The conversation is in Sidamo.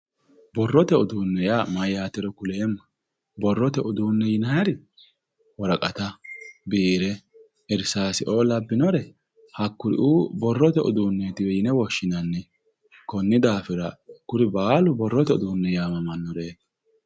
Borrote uduunne yaa mayyaatero kuleemmohe. Borrote uduunne yinayiri woraqata, biire, irsaaseoo labbinore borrote uduunnetiwe yine woshshinanni. Konni daafira kuri baalu borrote uduunne yaamamannoreeti.